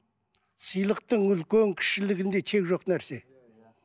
сыйлықтың үлкен кішілігінде шек жоқ нәрсе